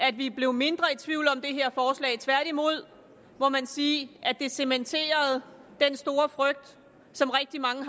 at vi blev mindre i tværtimod må man sige at det cementerede den store frygt som rigtig mange